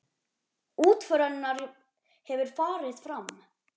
Útför hennar hefur farið fram.